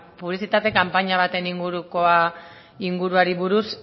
publizitate kanpaina baten inguruari buruz